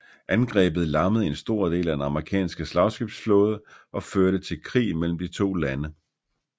Angrebet lammede en stor del af den amerikanske slagskibsflåde og førte til krig mellem de to lande